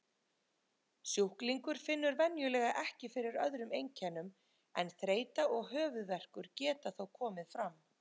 Sjúklingur finnur venjulega ekki fyrir öðrum einkennum en þreyta og höfuðverkur geta þó komið fram.